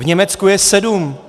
V Německu je sedm!